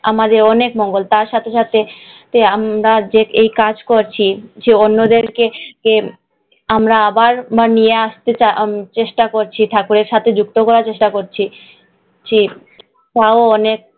তার সাথে সাথে আমরা যে এই কাজ করছি, যে অন্যদেরকে কে আমরা আবার নিয়ে আসতে চেষ্টা করছি, ঠাকুরের সাথে যুক্ত করার চেষ্টা করছি, তাও অনেক, আমাদের অনেক মঙ্গল।